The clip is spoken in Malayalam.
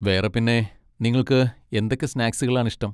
വേറെ പിന്നെ, നിങ്ങൾക്ക് എന്തൊക്കെ സ്നാക്സുകൾ ആണ് ഇഷ്ടം?